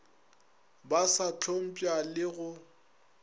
ba sa hlompša le go